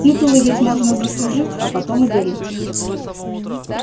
титулы ведь можно заслужить а потом и дарить